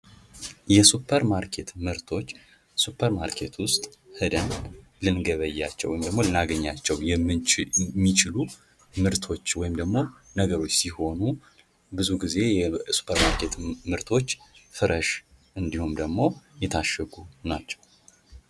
የሱፐር ማርኬት መርቶች ሱፐር ማርኬት ውስጥ ሂደን ልንገበያቸው ወይም ደግሞ ልናገኛቸው የምንችል የሚችሉ ምርቶች ወይም ደግሞ ነገሮች ሲሆኑ ብዙ ጊዜ የሱፐርማርኬት ምርቶች ፍረሽ እንዲሁም ደግሞ የታሸጉ ናቸው።